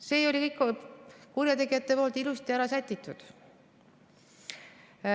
See oli kõik kurjategijatel ilusti ära sätitud.